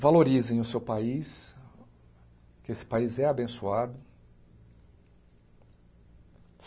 valorizem o seu país, que esse país é abençoado.